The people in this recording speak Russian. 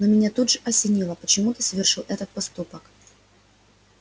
но меня тут же осенило почему ты совершил этот поступок